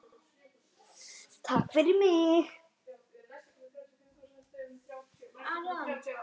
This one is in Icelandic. Takk fyrir mig.